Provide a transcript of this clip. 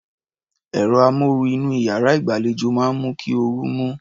Ẹ̀rọ amóoru inú iyàrá ìgbàlejò máa ń mú kí orú mú.